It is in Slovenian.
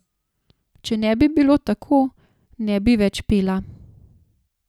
Če ne bi bilo tako, ne bi več pela.